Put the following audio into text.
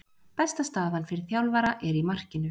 Besta staðan fyrir þjálfara er í markinu.